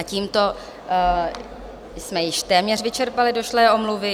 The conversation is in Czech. A tímto jsme již téměř vyčerpali došlé omluvy.